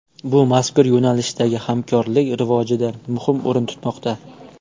Bu mazkur yo‘nalishdagi hamkorlik rivojida muhim o‘rin tutmoqda.